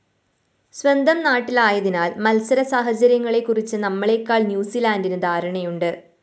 സ്വന്തം നാട്ടിലായതിനാല്‍ മത്സരസാഹചര്യങ്ങളെക്കുറിച്ച്‌ നമ്മളെക്കാള്‍ ന്യൂസിലാന്റിന്‌ ധാരണയുണ്ട്‌